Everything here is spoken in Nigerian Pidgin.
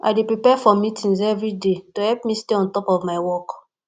i dey prepare for meetings every day to help me stay on top of my work